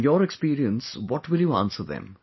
Through your experience, what will you answer them